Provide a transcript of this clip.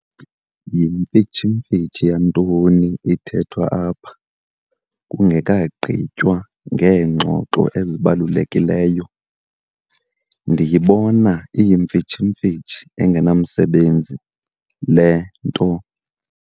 Yimfitshimfitshi yantoni ithethwa apha kungekagqitywa ngeengxoxo ezibalulekileyo? ndiyibona iyimfitshimfitshi engenamsebenzi le nto